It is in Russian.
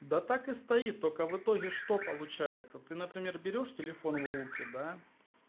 да так и стоит только в итоге что получается ты например берёшь телефон в руки да